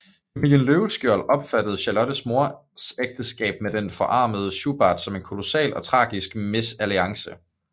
Familien Løvenskiold opfattede Charlottes mors ægteskab med den forarmede Schubart som en kolossal og tragisk mesalliance